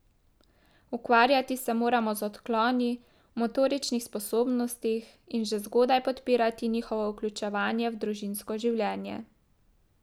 Ukvarjati se moramo z odkloni v motoričnih sposobnostih in že zgodaj podpirati njihovo vključevanje v družinsko življenje.